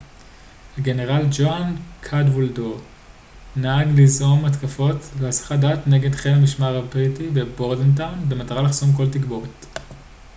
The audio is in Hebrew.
הגנרל ג'והן קדוולדר נהג ליזום התקפות להסחת דעת נגד חיל המשמר הבריטי בבורדנטאון במטרה לחסום כל תגבורת